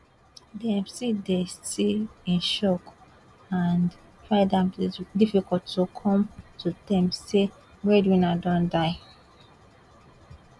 dem still dey still dey in shock and find am difficult to come to terms say dia breadwinner don die